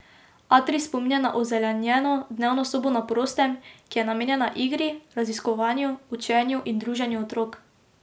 Atrij spominja na ozelenjeno dnevno sobo na prostem, ki je namenjena igri, raziskovanju, učenju in druženju otrok.